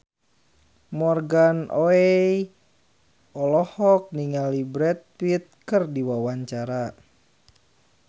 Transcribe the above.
Morgan Oey olohok ningali Brad Pitt keur diwawancara